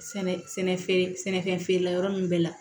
Sɛnɛ feere sɛnɛfɛn feerela ninnu bɛɛ la